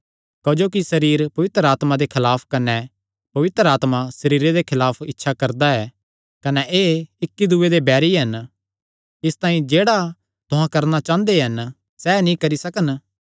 क्जोकि सरीर पवित्र आत्मा दे खलाफ कने पवित्र आत्मा सरीरे दे खलाफ इच्छा करदा ऐ कने एह़ इक्की दूये दे बैरी हन इसतांई कि जेह्ड़ा तुहां करणा चांह़दे हन सैह़ नीं करी सकन